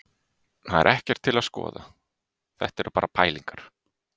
Það er ekkert til að skoða, þetta eru bara pælingar.